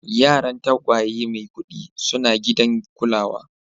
Yaran tagwaye Maikudi suna gidan kulawa.